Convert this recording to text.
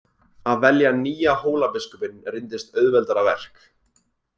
Að velja nýja Hólabiskupinn reyndist auðveldara verk.